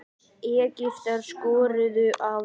Egyptar skoruðu að vild.